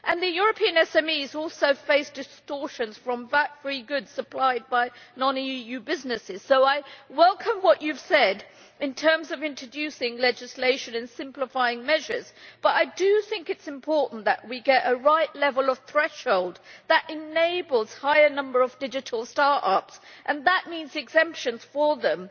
European SMEs also face distortions from VAT free goods supplied by non EU businesses. So I welcome what you have said in terms of introducing legislation and simplifying measures, but I do think it is important that we get the right level of threshold that enables a higher number of digital start ups, and that means exemptions for them.